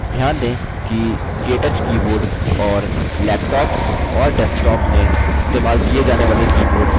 ध्यान दें कि केटच keyboard और laptops और desktops में इस्तेमाल किये जाने वाले keyboards समान हैं